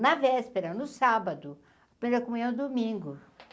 Na véspera, no sábado, primeira comunhão domingo.